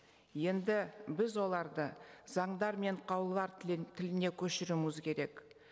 енді біз оларды заңдар мен қаулылар тіліне көшіруіміз керек